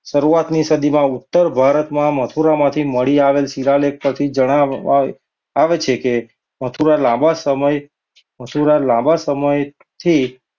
શરૂઆતની સદીમાં ઉત્તર ભારતમાં મથુરામાં મળી આવતા શિવાલય પરથી જણાય આવે છે કે મથુરા લાંબા સમય, મથુરા લાંબા સમયથી,